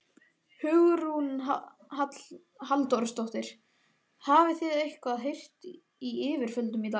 Hugrún Halldórsdóttir: Hafið þið eitthvað heyrt í yfirvöldum í dag?